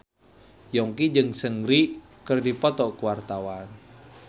Yongki jeung Seungri keur dipoto ku wartawan